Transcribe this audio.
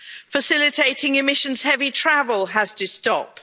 Facilitating emissions heavy travel has to stop.